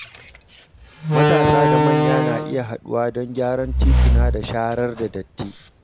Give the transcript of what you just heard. Matasa da manya na iya haɗuwa don gyaran tituna da sharar da datti.